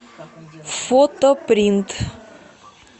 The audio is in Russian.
фотопринт